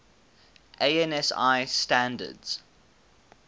ansi standards